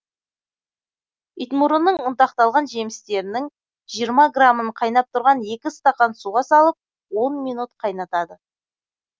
итмұрынның ұнтақталған жемістерінің жиырма грамын қайнап тұрған екі стакан суға салып он минут қайнатады